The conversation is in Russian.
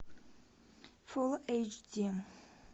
фулл эйч ди